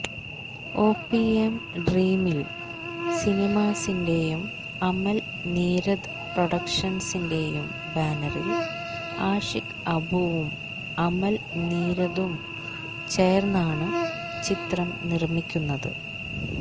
OPM dream mill സിനിമാസിന്റെയും അമൽ നീരദ് പ്രൊഡക്ഷൻസിന്റെയും ബാനറിൽ ആഷിക് അബുവും അമൽ നീരദും ചേർന്നാണ് ചിത്രം നിർമിക്കുന്നത്